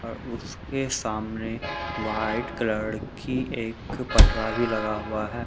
अ उसके सामने white colour की एक पटरा भी लगा हुआ है।